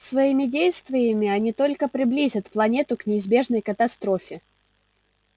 своими действиями они только приблизят планету к неизбежной катастрофе